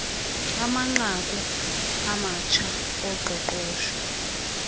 amanqaku amatsha oqoqosho